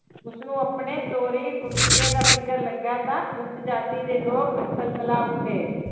ਉਸਨੂੰ ਆਪਣੇ ਤੋਰੀ ਫੁਲਕੇ ਦਾ ਫ਼ਿਕਰ ਲੱਗਾ ਤਾਂ ਉੁਸ ਜਾਤੀ ਦੇ ਲੋਕ ਤਿਲਮਿਲਾ ਉੱਠੇ।